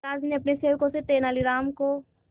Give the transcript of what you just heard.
महाराज ने अपने सेवकों से तेनालीराम को